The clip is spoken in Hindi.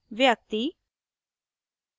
व्यक्ति